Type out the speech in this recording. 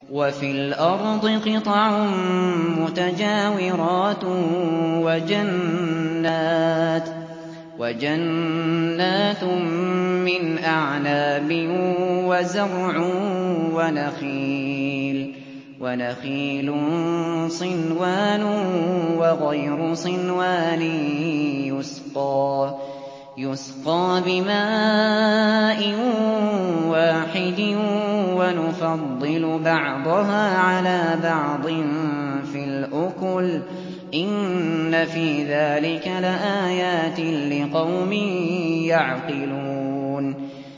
وَفِي الْأَرْضِ قِطَعٌ مُّتَجَاوِرَاتٌ وَجَنَّاتٌ مِّنْ أَعْنَابٍ وَزَرْعٌ وَنَخِيلٌ صِنْوَانٌ وَغَيْرُ صِنْوَانٍ يُسْقَىٰ بِمَاءٍ وَاحِدٍ وَنُفَضِّلُ بَعْضَهَا عَلَىٰ بَعْضٍ فِي الْأُكُلِ ۚ إِنَّ فِي ذَٰلِكَ لَآيَاتٍ لِّقَوْمٍ يَعْقِلُونَ